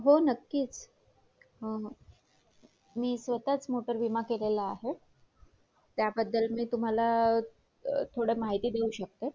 असू शकतोअजून आणि एकमेव मालकी मध्ये कस माहितीये अ अ solo partnership हा एक व्यवसाय आ~